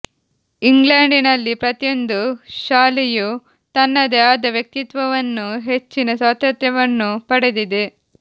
ಇಂಗ್ಲೆಂಡಿನಲ್ಲಿ ಪ್ರತಿಯೊಂದು ಶಾಲೆಯೂ ತನ್ನದೇ ಆದ ವ್ಯಕ್ತಿತ್ವವನ್ನೂ ಹೆಚ್ಚಿನ ಸ್ವಾತಂತ್ರ್ಯವನ್ನೂ ಪಡೆದಿದೆ